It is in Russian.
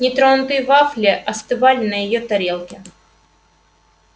нетронутые вафли остывали на её тарелке